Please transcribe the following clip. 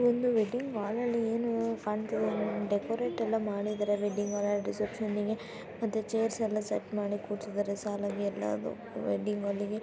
ಇದೊಂದು wedding hall ಆಲ್ಲಿ ಏನೊ ಕಾಣತದೆ ಡೆಕೋರೇಟ್ ಎಲ್ಲಾ ಮಾಡಿದ್ದಾರೆ ವೆಡ್ಡಿಂಗ್ ಹಾಲ್ ಆಂಡ ರಿಸೆಪ್ಸೆನಿ ಗೆ ಮತ್ತೆ ಚೈರ್ಸ್ ಎಲ್ಲಾ ಸೆಟ್ ಮಾಡಿ ಕುರ್ಸಿದ್ದಾರೆ ಸಾಲಾಗಿ ಎಲ್ಲಾ ವೆಡ್ಡಿಂಗ್ ಹಾಲಿಗೆ .